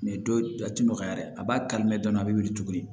dɔw a ti nɔgɔya dɛ a b'a kari mɛ dɔɔnin a be wili tuguni